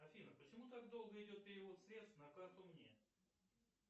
афина почему так долго идет перевод средств на карту мне